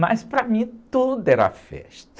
Mas para mim tudo era festa.